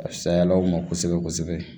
A fisayala u ma kosɛbɛ kosɛbɛ